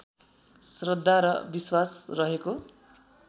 श्रद्धा र विश्वास रहेको